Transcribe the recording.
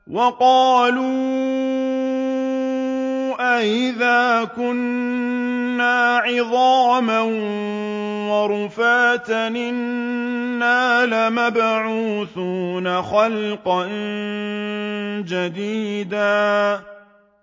وَقَالُوا أَإِذَا كُنَّا عِظَامًا وَرُفَاتًا أَإِنَّا لَمَبْعُوثُونَ خَلْقًا جَدِيدًا